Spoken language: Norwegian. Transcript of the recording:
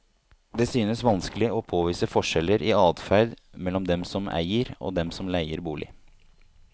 Det synes vanskelig å påvise forskjeller i adferd mellom dem som eier og dem som leier bolig.